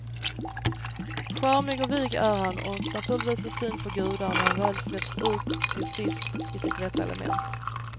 Charmig och vig är han och naturligtvis en syn för gudar när han väl släpps ut till sist i sitt rätta element.